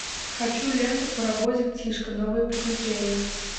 хочу ленту паровозик тишка новые приключения